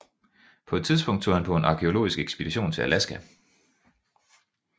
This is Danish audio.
På et tidspunkt tog han på en arkæologisk ekspedition til Alaska